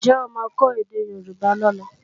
Ǹjẹ́ ó máa kọ́ èdè Yorùbá lọ́la?